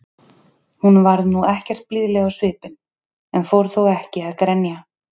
Hún varð nú ekkert blíðleg á svipinn, en fór þó ekki að grenja.